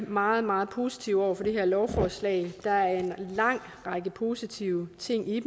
meget meget positive over for det her lovforslag der er en lang række positive ting i